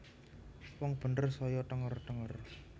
Wong bener saya thenger thenger